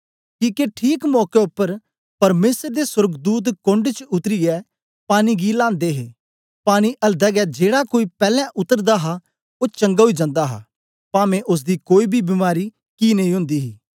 किके ठीक मौके उपर परमेसर दे सोर्गदूत कोण्ड च उतरीयै पानी गी लांदे हे पानी अलदै गै जेड़ा कोई पैलैं उतरदा हा ओ चंगा ओई जंदा हा पांवे ओसदी कोई बी बीमारी कि नेई ओन्दी ही